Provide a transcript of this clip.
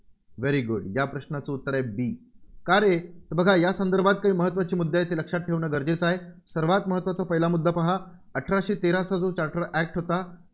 very good या प्रश्नाचं उत्तर आहे B का रे? हे बघा या संदर्भात काही महत्त्वाचे मुद्दे आहेत, ते लक्षात ठेवणं गरजेचं आहे. सर्वांत महत्त्वाचा पहिला मुद्दा पाहा अठराशे तेराचा जो charter act होता